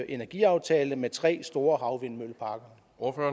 energiaftale med tre store havvindmølleparker